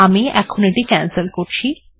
আমি এখন এটি ক্যানসেল্ করছি